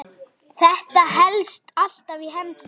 Þetta helst alltaf í hendur.